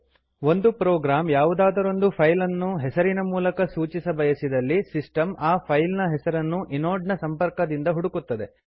ಒಂದು ಪ್ರೋಗ್ರಾಂ ಯಾವುದಾದರೊಂದು ಫೈಲ್ ಅನ್ನು ಹೆಸರಿನ ಮೂಲಕ ಸೂಚಿಸಬಯಸಿದಲ್ಲಿ ಸಿಸ್ಟಮ್ ಆ ಫೈಲ್ ನ ಹೆಸರನ್ನು ಇನೋಡ್ ನ ಸಂಪರ್ಕದಿಂದ ಹುಡುಕುತ್ತದೆ